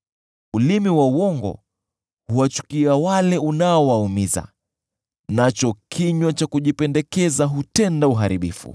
Ulimi wa uongo, huwachukia wale unaowaumiza, nacho kinywa cha kujipendekeza hutenda uharibifu.